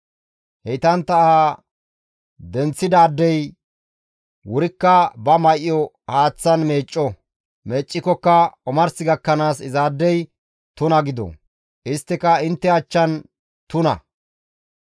Heytantta aha denththidaadey wurikka ba may7o haaththan meecco; meeccikokka omars gakkanaas izaadey tuna gido; isttika intte achchan tuna.